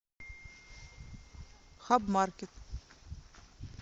хабмаркет